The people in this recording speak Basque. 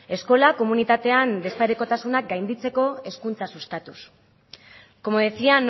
eskola komunitatean desparekotasuna gainditzeko hezkuntza sustatuz como decía